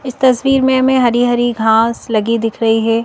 इस तस्वीर में हमें हरी हरी घास लगी दिख रही है।